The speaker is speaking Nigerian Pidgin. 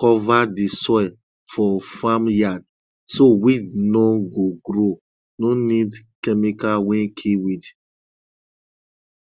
cover di soil for farm yard so weed no go grow no need chemical wey kill weed